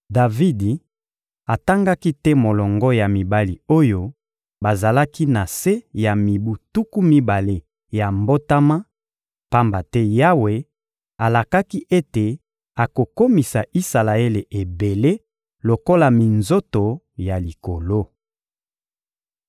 Davidi atangaki te molongo ya mibali oyo bazalaki na se ya mibu tuku mibale ya mbotama, pamba te Yawe alakaki ete akokomisa Isalaele ebele lokola minzoto ya likolo.